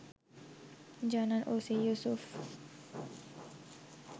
জানান ওসি ইউসুফ